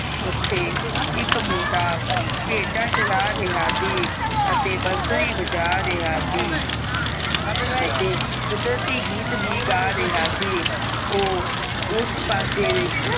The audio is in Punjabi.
ਓਥੇ ਇਕ ਮੁੰਡਾ ਭੇਡਾਂ ਚਾਰਾ ਰਿਹਾ ਸੀ ਅਤੇ ਬਾਂਸੁਰੀ ਬਾਜਾ ਰਿਹਾ ਸੀ ਅਤੇ ਕੁਦਰਤੀ ਗੀਤ ਵੀ ਗਾ ਰਿਹਾ ਸੀ ਓ ਉਸ ਪਾਸੇ